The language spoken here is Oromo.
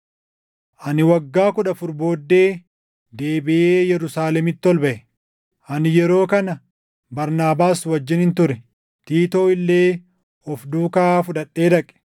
Ani waggaa kudha afur booddee deebiʼee Yerusaalemitti ol baʼe; ani yeroo kana Barnaabaas wajjinin ture. Tiitoo illee of duukaa fudhadhee dhaqe.